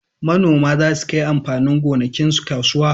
Manoma za su kai amfanin gonakinsu kasuwa